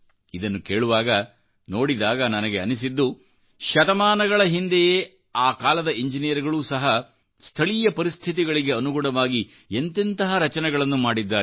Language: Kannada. ಇದನ್ನು ಕೇಳುವಾಗ ನೋಡಿದಾಗ ನನಗೆ ಅನ್ನಿಸಿದ್ದು ಶತಮಾನಗಳಹಿಂದೆಯೂ ಸಹ ಆ ಕಾಲದ ಇಂಜಿನಿಯರ್ಗಳೂ ಸಹ ಸ್ಥಳೀಯ ಪರಿಸ್ಥಿತಿಗಳಿಗೆ ಅನುಗುಣವಾಗಿ ಎಂತೆಂತೆಹ ರಚನೆಗಳನ್ನು ಮಾಡಿದ್ದಾರೆ